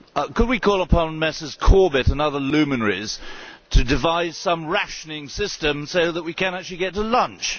Could we call upon Mr Corbett and other luminaries to devise some rationing system so that we can actually get to lunch?